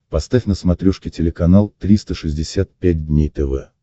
поставь на смотрешке телеканал триста шестьдесят пять дней тв